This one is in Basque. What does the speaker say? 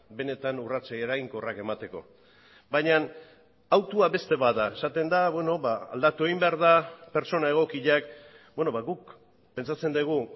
benetan urrats eraginkorrak emateko baina hautua beste bat da esaten da aldatu egin behar da pertsona egokiak guk pentsatzen dugu